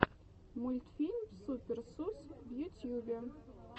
мультфильм супер сус в ютьюбе